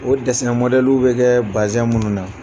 O mɔdɛliw bɛ kɛ minnu na.